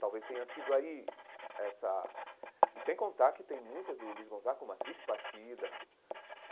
Talvez tenha sido aí essa... E sem contar que tem músicas do Luiz Gonzaga, como A Triste Partida.